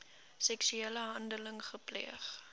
seksuele handeling gepleeg